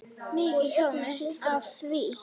Mikið hlógum við að því.